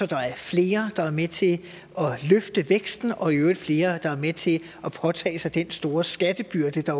der er flere der er med til at løfte væksten og i øvrigt flere der er med til at påtage sig den store skattebyrde der